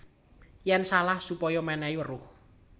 Yèn salah supaya mènèhi weruh